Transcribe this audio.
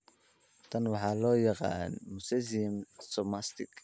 Tan waxa loo yaqaan mosaicism somatic.